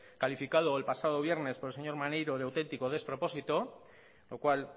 calificado el pasado viernes por el señor maneiro de auténtico despropósito lo cual